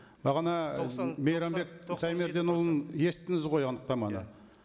бағана мейрамбек шәймерденұлының естідіңіз ғой анықтаманы